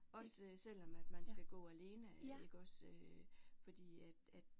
Også selvom at man skal gå alene iggås øh fordi at at